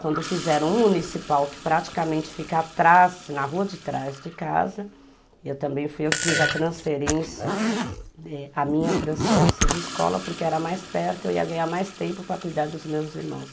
Quando fizeram um municipal que praticamente fica atrás, na rua de trás de casa, eu também fui eu que fiz a transferência, a minha transferência de escola, porque era mais perto, eu ia ganhar mais tempo para cuidar dos meus irmãos.